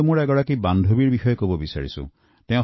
মই মোৰ এগৰাকী বান্ধৱীৰ কথা আপোনাক জনাব বিচাৰিছোঁ